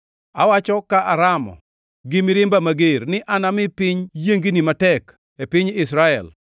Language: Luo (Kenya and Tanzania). Awacho ka aramo gi mirimba mager ni anami piny yiengni matek e piny Israel.